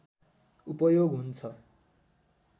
उपयोग हुन्छ